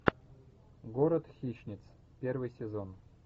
город хищниц первый сезон